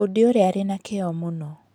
Bundi ũrĩa arĩ na kĩyo mũno.